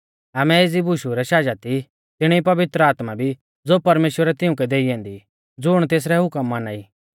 आमै एज़ी बुशु रै शाजत ई तिणी ई पवित्र आत्मा भी ज़ो परमेश्‍वरै तिउंकै देई ऐन्दी ज़ुण तेसरै हुकम माना ई